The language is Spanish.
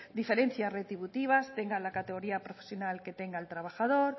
diferencias retributivas tengan la categoría profesional que tenga el trabajador